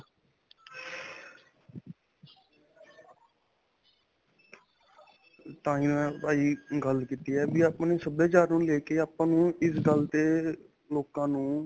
ਤਾਂਹੀ ਪਾਜੀ ਗੱਲ ਕੀਤਾ ਹੈ ਵੀ ਆਪਣੇ ਸਭਿਆਚਾਰ ਨੂੰ ਲੈਕੇ ਆਪਾਂ ਨੂੰ ਇਸ ਗੱਲ ਤੇ ਲੋਕਾਂ ਨੂੰ.